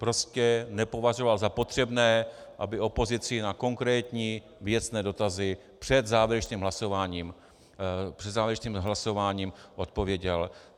Prostě nepovažoval za potřebné, aby opozici na konkrétní věcné dotazy před závěrečným hlasováním odpověděl.